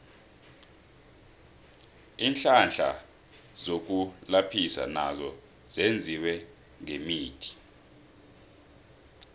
iinhlahla zokulaphisa nazo zenziwe ngemithi